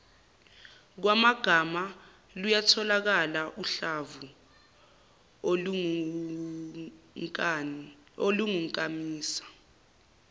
kwamagama luyatholakala uhlamvuolungunkamisa